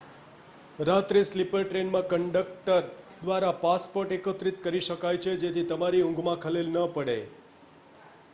રાત્રે સ્લીપર ટ્રેનમાં કન્ડક્ટર દ્વારા પાસપોર્ટ એકત્ર િત કરી શકાય છે જેથી તમારી ઊંઘ માં ખલેલ ન પડે